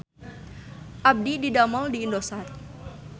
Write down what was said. Abdi didamel di Indosat